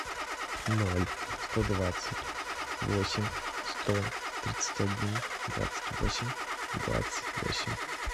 ноль сто двадцать восемь сто тридцать один двадцать восемь двадцать восемь